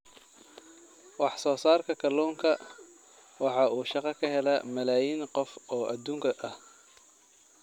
Wax soo saarka kalluunka waxa uu shaqo ka helaa malaayiin qof oo adduunka ah.